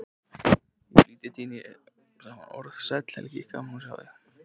Í flýti tíni ég saman orð: Sæll Helgi, gaman að sjá þig